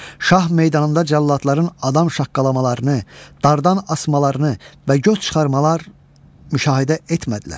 Şah meydanında cəlladların adam şaqqalamalarını, dardən asmalarını və göz çıxarmalar müşahidə etmədilər.